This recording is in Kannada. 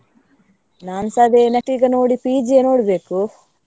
ನಾನ್ಸ ಅದೇ next ಈಗ ನೋಡಿ PG ಯೇ ನೋಡ್ಬೇಕು.